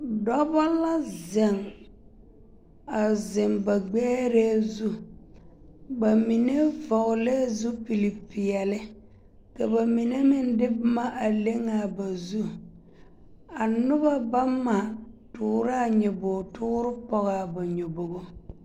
Dɔbɔ la zeŋ, a zeŋ ba gbɛɛrɛɛ zu bamine vɔgelɛɛ zupili peɛle ka bamine meŋ de boma a leŋ a ba zu a noba bama toorɛɛ a nyobogi toore pɔge a ba nyobogo.